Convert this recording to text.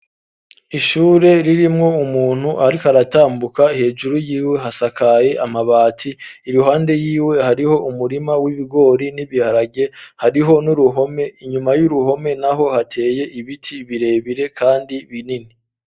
Ishure ririmwo umuntu ariko aratambuka hejuru y'iwe hasakaye amabati iruhande y'iwe hariho umurima w'ibigori n'ibiharage hariho n'uruhome inyuma y'uruhome naho hateye ibiti birebire kandi binini.